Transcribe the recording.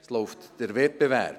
Es läuft der Wettbewerb.